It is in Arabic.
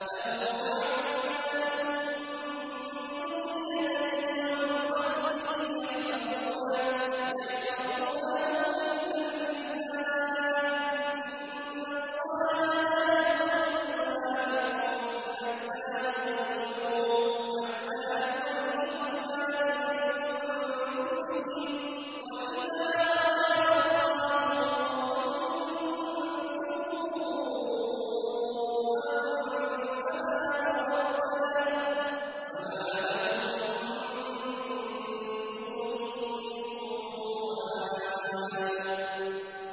لَهُ مُعَقِّبَاتٌ مِّن بَيْنِ يَدَيْهِ وَمِنْ خَلْفِهِ يَحْفَظُونَهُ مِنْ أَمْرِ اللَّهِ ۗ إِنَّ اللَّهَ لَا يُغَيِّرُ مَا بِقَوْمٍ حَتَّىٰ يُغَيِّرُوا مَا بِأَنفُسِهِمْ ۗ وَإِذَا أَرَادَ اللَّهُ بِقَوْمٍ سُوءًا فَلَا مَرَدَّ لَهُ ۚ وَمَا لَهُم مِّن دُونِهِ مِن وَالٍ